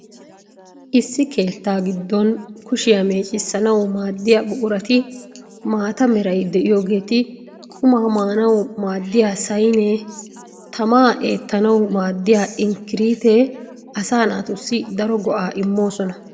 Issi keettaa giddon kushiyaa meeccissanawu maaddiya buqurati maatta meray de'iyogeeti, qummaa maanawu maadiya sayneenne tammaa eettanawu maadiya inqqiriittee asaa naatussi daro go'aa immoosona.